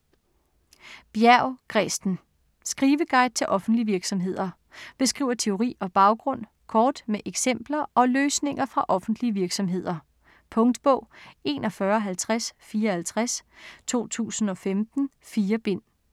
Bjerg, Kresten: Skriveguiden til offentlige virksomheder Beskriver teori og baggrund kort med eksempler og løsninger fra offentlige virksomheder. Punktbog 415054 2015. 4 bind.